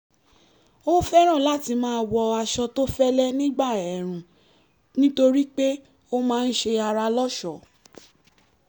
ó fẹ́ràn láti máa wọ aṣọ tó fẹ́lé nígbà ẹ̀ẹ̀rùn nítorí pé ó máa ń ṣe ara lọ́ṣọ̀ọ́